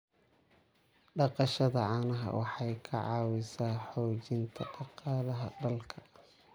Dhaqashada caanaha waxay ka caawisaa xoojinta dhaqaalaha dalka.